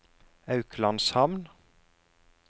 Auklandshamn